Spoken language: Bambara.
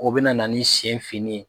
O bɛna na ni sen finni ye